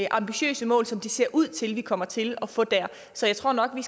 ambitiøse mål som det ser ud til at vi kommer til at få så jeg tror nok vi